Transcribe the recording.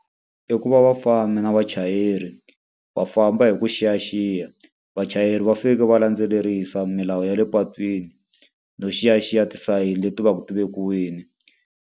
I ku va vafambi na vachayeri va famba hi ku xiyaxiya. Vachayeri va finekele va landzelerisa milawu ya le patwini, no xiyaxiya tisayini leti va ku ti vekiwile.